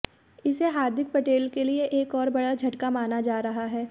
इसे हार्दिक पटेल के लिए एक और बड़ा झटका माना जा रहा है